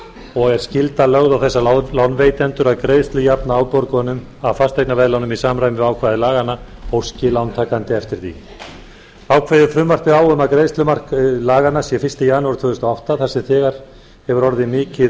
og er skylda lögð á þessa lánveitendur að greiðslujafna afborgunum af fasteignaveðlánum í samræmi við ákvæði laganna óski lántakandi eftir því þá kveður frumvarpið á um að greiðslumark laganna sé fyrsta janúar tvö þúsund og átta þar sem þegar hefur orðið mikið